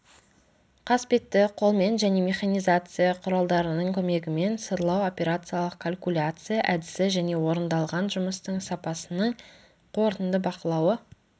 қасбетті қолмен және механизация құралдарының көмегімен сырлау операциялық калькуляция әдісі және орындалған жұмыстың сапасының қорытынды бақылауы